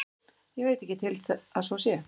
Ég veit ekki til að svo sé.